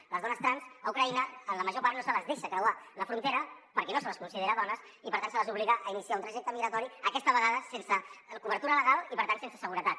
a les dones trans a ucraïna en la major part no se’ls deixa creuar la frontera perquè no se les considera dones i per tant se les obliga a iniciar un trajecte migratori aquesta vegada sense cobertura legal i per tant sense seguretat